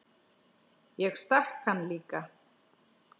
Ég stakk hann líka.